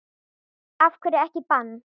Af hverju ekki bann?